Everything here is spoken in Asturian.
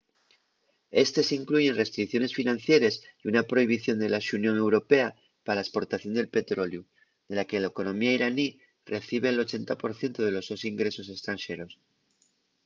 éstes incluyen restricciones financieres y una prohibición de la xunión europea pa la esportación de petroleu de la que la economía iraní recibe’l 80% de los sos ingresos estranxeros